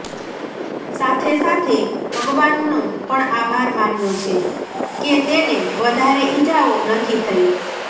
સાથે સાથે ભગવાનનો પણ આભાર માન્યો છે કે તેને વધારે ઇજાઓ નથી થઈ